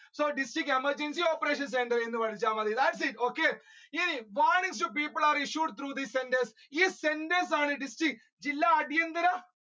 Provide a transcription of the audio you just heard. so district emergency operation centre എന്ന് പഠിച്ച മതി okay ഇനി warnings to people are issued through centres ഈ centres ആണ് district ജില്ല അടിയന്തര